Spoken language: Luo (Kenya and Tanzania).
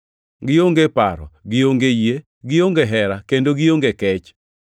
gionge paro, gionge yie, gionge hera, kendo gionge kech.